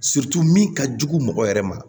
min ka jugu mɔgɔ yɛrɛ ma